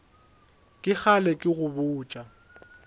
ke kgale ke go botša